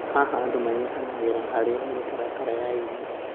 Haha, andũ nĩ manyitanagĩra harĩ mĩtaratara ya irio.